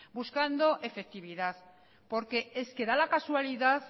buscando efectividad porque es que da la casualidad